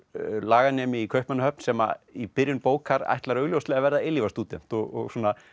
laganemi í Kaupmannahöfn sem í byrjun bókar ætlar augljóslega að verða eilífðarstúdent og svona